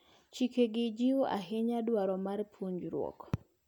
Chikegi jiwo ahinya dwaro mar ponjruok.